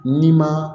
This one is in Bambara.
N'i ma